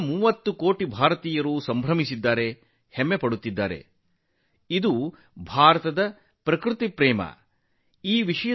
130 ಕೋಟಿ ಭಾರತೀಯರು ಸಂತೋಷದಿಂದ ಹೆಮ್ಮೆಯಿಂದ ಬೀಗಿದ್ದಾರೆ ಇದು ಪ್ರಕೃತಿಯ ಬಗೆಗಿನ ಭಾರತದ ಪ್ರೀತಿ